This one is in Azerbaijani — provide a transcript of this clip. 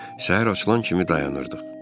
Səhər açılan kimi dayanırdıq.